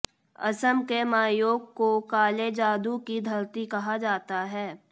असम के मायोंग को काले जादू की धरती कहा जाता है